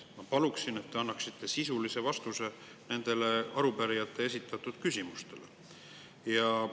Ma palun, et te annaksite sisulise vastuse arupärijate esitatud küsimustele.